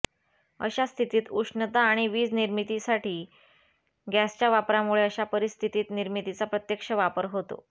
अशा स्थितीत उष्णता आणि वीज निर्मितीसाठी गॅसच्या वापरामुळे अशा परिस्थितीत निर्मितीचा प्रत्यक्ष वापर होतो